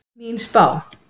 Mín spá?